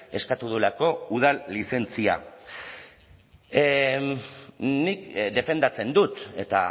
eskatu duelako udal lizentzia nik defendatzen dut eta